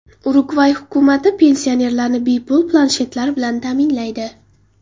Urugvay hukumati pensionerlarni bepul planshetlar bilan ta’minlaydi.